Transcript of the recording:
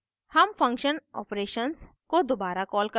हम function operations को दोबारा कॉल करते हैं